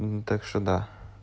так что да